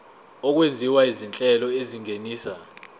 okwenziwa izinhlelo ezingenisa